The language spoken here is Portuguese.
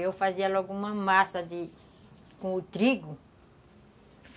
Eu fazia logo uma massa de... Com o trigo.